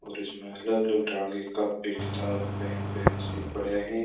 और इसमें अलग अलग काफी किताब पेन पेंसिल पड़ा हैं।